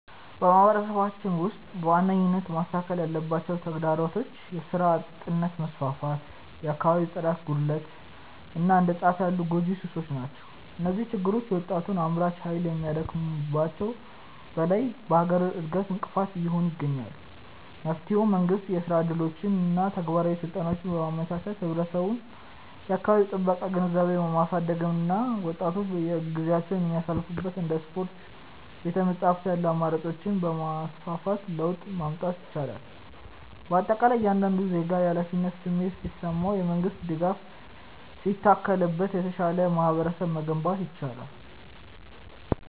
በማህበረሰባችን ውስጥ በዋነኝነት መስተካከል ያለባቸው ተግዳሮቶች የሥራ አጥነት መስፋፋት፣ የአካባቢ ጽዳት ጉድለት እና እንደ ጫት ያሉ ጎጂ ሱሶች ናቸው። እነዚህ ችግሮች የወጣቱን አምራች ኃይል ከማዳከማቸውም በላይ ለሀገር እድገት እንቅፋት እየሆኑ ይገኛሉ። መፍትሄውም መንግስት የሥራ ዕድሎችንና ተግባራዊ ስልጠናዎችን በማመቻቸት፣ ህብረተሰቡ የአካባቢ ጥበቃ ግንዛቤውን በማሳደግ እና ወጣቶች ጊዜያቸውን የሚያሳልፉባቸው እንደ ስፖርትና ቤተ-መጻሕፍት ያሉ አማራጮችን በማስፋፋት ለውጥ ማምጣት ይቻላል። በአጠቃላይ እያንዳንዱ ዜጋ የኃላፊነት ስሜት ሲሰማውና የመንግስት ድጋፍ ሲታከልበት የተሻለ ማህበረሰብ መገንባት ይቻላል።